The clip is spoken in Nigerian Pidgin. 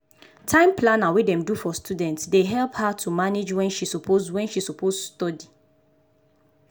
time planner wey dem do for studentsdey help her to manage wen she suppose wen she suppose study.